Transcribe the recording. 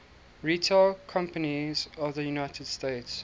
retail companies of the united states